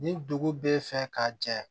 Ni dugu bɛ fɛ ka jɛ